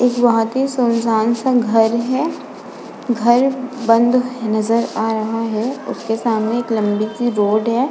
इक बोहत ही सुनसान सा घर है। घर बंद नजर आ रहा है। उसके सामने एक लंबी सी रोड है।